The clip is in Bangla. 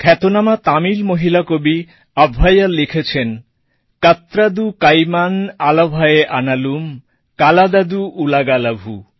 খ্যাতনামা তামিল মহিলা কবি অব্ওয়্যার আভ্বাইয়ার লিখেছেন কাটরাধু কাইমান আলাভে আনালুম কল্লাধধু ULAGALAVU